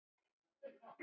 Og Gulli með þeim!